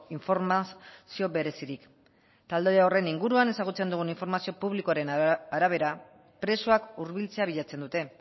informazio berezirik talde horren inguruan ezagutzen dugun informazio publikoaren arabera presoak hurbiltzea bilatzen dute